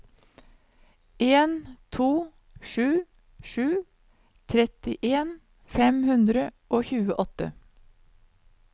en to sju sju trettien fem hundre og tjueåtte